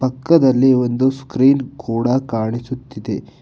ಪಕ್ಕದಲ್ಲಿ ಒಂದು ಸ್ಕ್ರೀನ್ ಕೂಡ ಕಾಣಿಸುತ್ತಿದೆ.